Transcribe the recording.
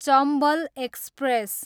Chambal express